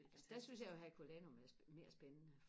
altså der synes jeg jo at herculaneum er mere spændende